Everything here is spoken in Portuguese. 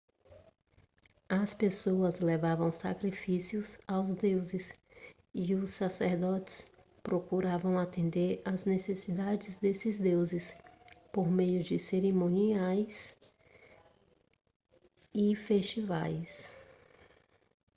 as pessoas levavam sacrifícios aos deuses e os sacerdotes procuravam atender às necessidades desses deuses por meio de cerimônias e festivais